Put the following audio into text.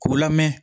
K'u lamɛn